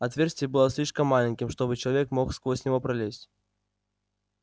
отверстие было слишком маленьким чтобы человек мог сквозь него пролезть